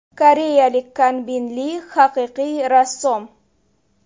Koreyalik Kanbin Li haqiqiy rassom.